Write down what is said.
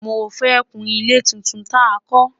mọ fẹ kún ilé títún tá kò